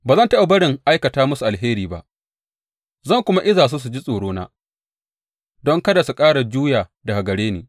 Ba zan taɓa barin aikata musu alheri ba, zan kuma iza su su ji tsorona, don kada su ƙara juya daga gare ni.